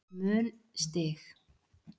mun stig